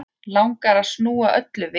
Langar að snúa öllu við.